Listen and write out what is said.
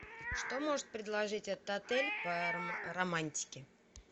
что может предложить этот отель по романтике